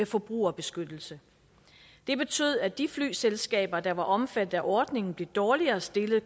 forbrugerbeskyttelse det betød at de flyselskaber der var omfattet af ordningen konkurrencemæssigt blev dårligere stillet